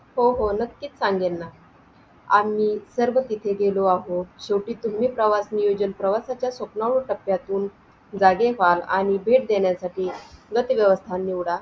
अकरा बायकांचा आपण काय करतोय suppose अकरा बायकांना आपण नाव दिलं रमाबाई बचत गट.